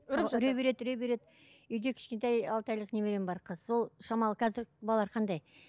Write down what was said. үре береді үре береді үйде кішкентай алты айлық немерем бар қыз ол шамалы қазір балалар қандай